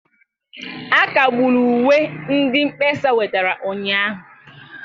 A kagburu uwe ndị mkpesa wetara ụnyahụ